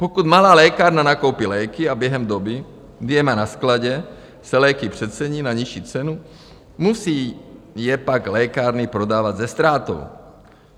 Pokud malá lékárna nakoupí léky a během doby, kdy je má na skladě, se léky přecení na nižší cenu, musí je pak lékárny prodávat se ztrátou.